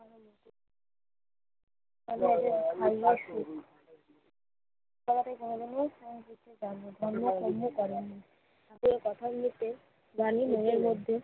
সম্রাটের ভাইয়া ধর্ম-কর্মও করেন না। যে কথার মধ্যে রানীর মনের মধ্যে